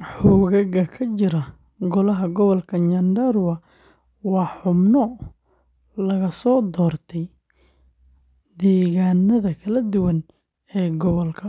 Xoogagga ka jira golaha gobolka Nyandarua waa xubno laga soo doorto deegaannada kala duwan ee gobolka